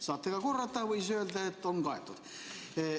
Saate ka korrata või öelda, et kattub.